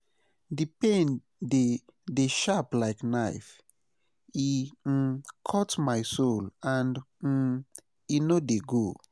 Di pain dey dey sharp like knife, e um cut my soul and um e no dey go.